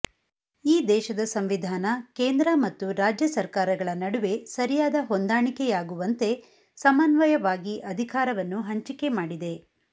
ಈ ದೇಶದ ಸಂವಿಧಾನ ಕೇಂದ್ರ ಮತ್ತು ರಾಜ್ಯ ಸರ್ಕಾರಗಳ ನಡುವೆ ಸರಿಯಾದ ಹೊಂದಾಣಿಕೆಯಾಗುವಂತೆ ಸಮನ್ವಯವಾಗಿ ಅಧಿಕಾರವನ್ನು ಹಂಚಿಕೆ ಮಾಡಿದೆ